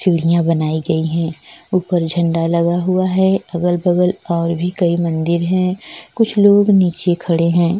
सीढियाँ बनाई गई है ऊपर झंडा लगा हुआ है अगल-बगल और भी कई मंदिर है कुछ लोग नीचे खड़े हैं।